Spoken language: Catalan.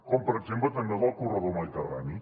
com per exemple també el del corredor mediterrani